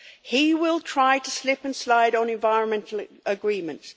He will try to slip and slide on environmental agreements.